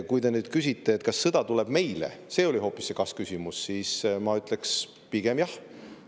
Kui te küsite, kas sõda tuleb meile – see oli hoopis see kas-küsimus –, siis ma ütleks: pigem jah.